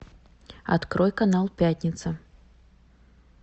открой канал пятница